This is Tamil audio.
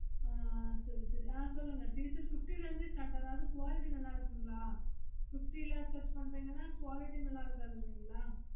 ஆஹ் சேரி சேரி ஆஹ் சொல்லுங்க t shirts fifty ல இருந்து start ஆகுது அதாவது quality நல்ல இருக்கும்களா fifty ல search பண்ணறீங்கனா quality நல்ல இருக்காதுங்கில்லையா